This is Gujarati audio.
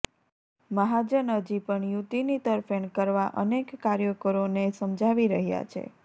મહાજન હજી પણ યુતિની તરફેણ કરવા અનેક કાર્યકરોને સમજાવી રહ્યા છે